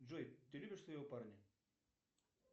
джой ты любишь своего парня